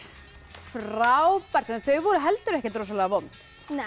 frábært þau voru heldur ekkert rosalega vond